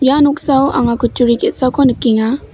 ia noksao anga kutturi ge·sako nikenga.